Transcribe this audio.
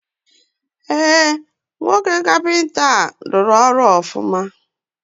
Eh, nwoke kapịnta a anwaka